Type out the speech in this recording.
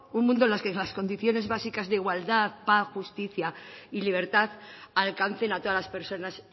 un mundo donde las condiciones básicas de igualdad paz justicia y libertad alcancen a todas las personas